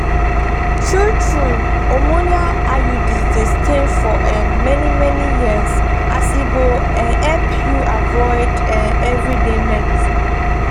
true-true hormonal iuds dey stay um for many-many years as e go um help you avoid um everyday medicines.